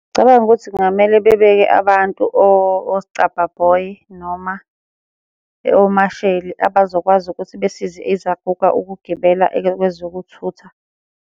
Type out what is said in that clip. Ngicabanga ukuthi kungamele bebeke abantu oscabha boy, noma omasheli abazokwazi ukuthi besize izaguga ukugibela kwezokuthutha.